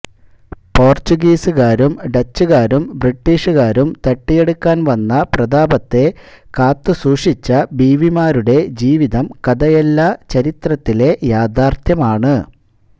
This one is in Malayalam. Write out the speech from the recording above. പോർച്ചുഗീസുകാരും ഡച്ചുകാരും ബ്രിട്ടിഷുകാരും തട്ടിയെടുക്കാൻവന്ന പ്രതാപത്തെ കാത്തുസൂക്ഷിച്ച ബീവിമാരുടെ ജീവിതം കഥയല്ല ചരിത്രത്തിലെ യാഥാർഥ്യമാണ്